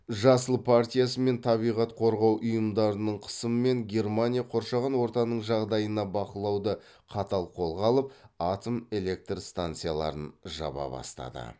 жасылдар партиясы мен табиғат қорғау ұйымдарының қысымымен германия қоршаған ортаның жағдайына бақылауды қатал қолға алып атом электр станцияларын жаба бастады